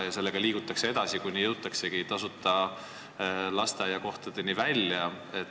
Ning me liigume sellega edasi, kuni jõuamegi tasuta lasteaiakohtadeni välja.